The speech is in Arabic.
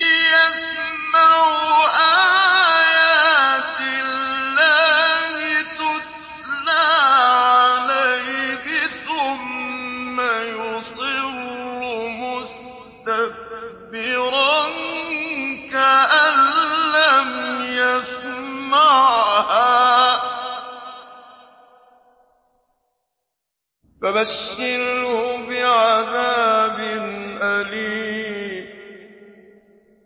يَسْمَعُ آيَاتِ اللَّهِ تُتْلَىٰ عَلَيْهِ ثُمَّ يُصِرُّ مُسْتَكْبِرًا كَأَن لَّمْ يَسْمَعْهَا ۖ فَبَشِّرْهُ بِعَذَابٍ أَلِيمٍ